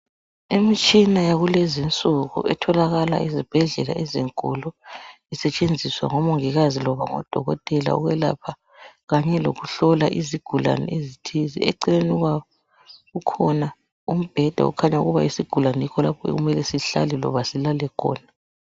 Imitshina yakulezinsuku etholakala ezibhedlela ezinkulu isetshenziswa ngomongikazi loba odokotela ukwelapha kanye lokuhlola izigulane ezithize. Eceleni kwabo kukhona umbheda okhanya ukuba isigulane yikho lapho okumele sihlale loba silale khona.